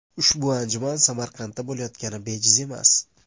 Ushbu anjuman Samarqandda bo‘layotgani bejiz emas.